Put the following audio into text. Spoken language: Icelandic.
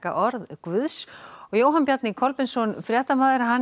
orð guðs Jóhann Bjarni Kolbeinsson fréttamaður